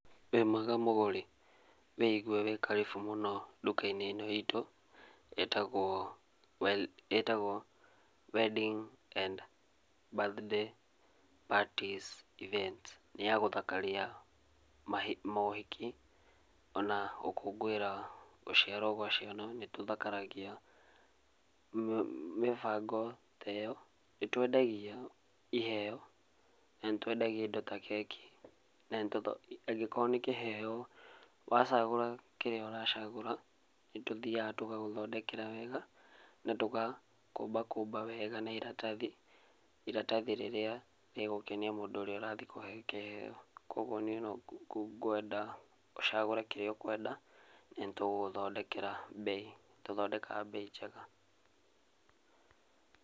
Wĩ mwega mũgũri? Wĩigũe wĩ karĩbũ mũno nduka-inĩ itũ ĩtagwo Wedding and Birthday Parties Events, nĩ yagũthakaria mohiki ona gũkũngũira gũciarwo gwa ciana, nĩ tũthakaragia mĩbango ta ĩyo nĩ tũendagia iheo na nĩtũendagia indo ta keki na angĩkorwo nĩ kĩheo, wa cagũra kĩrĩa ũracagũra nĩ tũthiaga tũgagũthondekera wega na tũgakũmba kũmba wega na ĩratathi, iratathi rĩrĩa rĩgũkenia mũndũ rathie ũrĩa ũrathiĩ kũhe kĩheo kogũo niĩ no ngũenda ũcagũre kĩria ũkũenda na nĩ tũgũgũthondekera mbei njega.